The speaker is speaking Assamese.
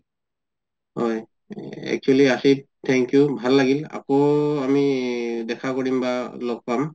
হয় actually আচিফ thank you ভাল লাগিল আকৌ আমি দেখা কৰিম বা লগ পাম